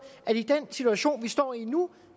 at i den situation vi står i nu